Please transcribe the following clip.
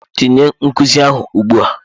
Tinye nkuzi ahụ ugbu a!